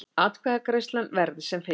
Atkvæðagreiðslan verði sem fyrst